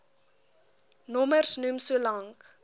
nommers noem solank